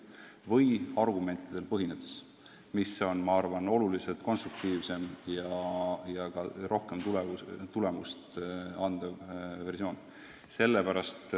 Ja seda saab teha ka argumentidele tuginedes, mis on, ma arvan, oluliselt konstruktiivsem ja ka rohkem tulemust andev versioon.